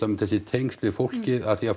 þessi tengsl við fólkið af því að